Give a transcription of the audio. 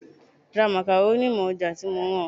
Ra makaroni mọ́ ọjà tí mo rán ọ.